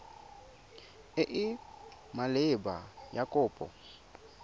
e e maleba ya kopo